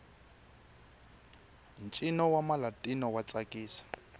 ntjino wamalatino watsakisa